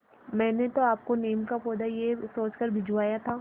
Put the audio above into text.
मैंने तो आपको नीम का पौधा यह सोचकर भिजवाया था